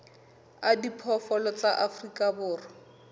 a diphoofolo tsa afrika borwa